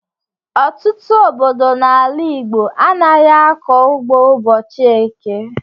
Ọtụtụ obodo n'ala Igbo anaghị akọ ugbo ụbọchị eke.